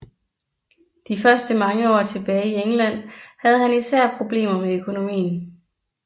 De første mange år tilbage i England havde han især problemer med økonomien